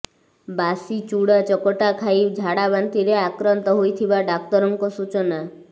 ବାସି ଚୂଡ଼ା ଚକଟା ଖାଈ ଝାଡ଼ାବାନ୍ତିରେ ଆକ୍ରାନ୍ତ ହୋଇଥିବା ଡାକ୍ତରଙ୍କ ସୂଚନା